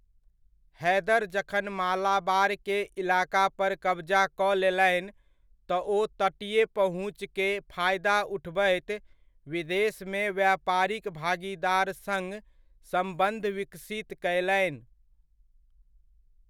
हैदर जखन मालाबार के इलाका पर कब्जा कऽ लेलनि, तऽ ओ तटीय पहुँच के फायदा उठबैत विदेशमे व्यापारिक भागीदार सङ्ग सम्बन्ध विकसित कयलनि।